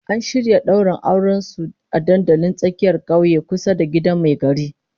An shirya daura auren su a dandalin tsakiyar kauye kusa da gidan mai gari